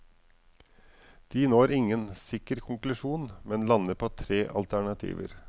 De når ingen sikker konklusjon, men lander på tre alternativer.